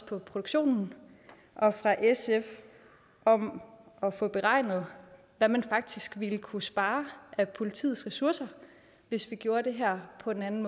produktionen og fra sf om at få beregnet hvad man faktisk ville kunne spare af politiets ressourcer hvis vi gjorde her på en anden